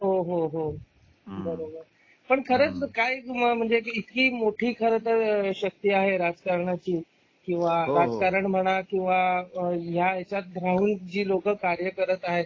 हो हो हो बरोबर पण खरंच काय तुम्हाला म्हणजे मोठी खरतर शक्ती आहे राजकारणाची किंवा राजकारण म्हणा किंवा ह्याच्यात जी लोक राहून कार्य करत आहेत.